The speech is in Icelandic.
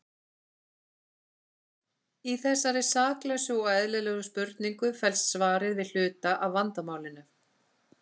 Í þessari saklausu og eðlilegri spurningu felst svarið við hluta af vandamálinu.